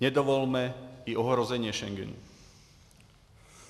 Nedovolme ani ohrožení Schengenu.